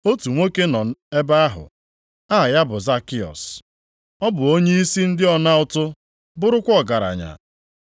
Otu nwoke nọ ebe ahụ, aha ya bụ Zakịọs; ọ bụ onyeisi ndị ọna ụtụ bụrụkwa ọgaranya.